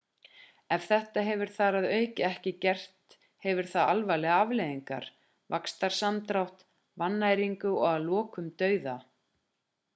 ef þetta hefur þar að auki ekki gert hefur það alvarlegar afleiðingar vaxtarsamdrátt vannæringu og að lokum dauða